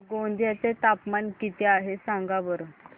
गोंदिया चे तापमान किती आहे सांगा बरं